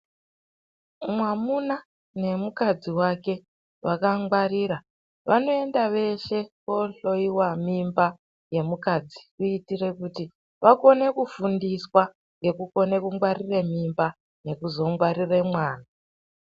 Mwamuna nemukadzi wake vakangwarira vanoenda veshe koohloiwa mimba yemukadzi kuitire kuti vakone kufundiswa ngekukone kungwarire mimba nekuzongwarire mwana.